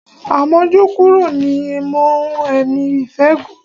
Àmójúkúrò ni í mú ẹ̀mí ìfẹ́ gùn.